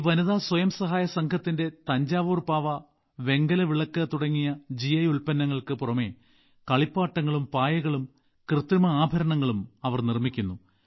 ഈ വനിതാ സ്വയം സഹായ സംഘത്തിന്റെ തഞ്ചാവൂർ പാവ വെങ്കല വിളക്ക് തുടങ്ങി ജിഐ ഉൽപ്പന്നങ്ങൾക്ക് പുറമെ കളിപ്പാട്ടങ്ങളും പായകളും കൃത്രിമ ആഭരണങ്ങളും അവർ നിർമ്മിക്കുന്നു